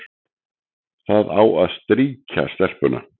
Það á að strýkja stelpuna,